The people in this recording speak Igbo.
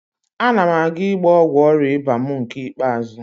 Ana m aga ịgba ọgwụ ọrịa ịba mụ nke ikpeazụ